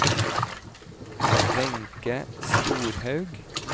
Wenche Storhaug